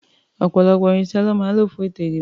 Ọ̀pọ̀lọpọ̀ irinṣẹ́ lọ́ máa ń lò fún ètò-ìdìbò.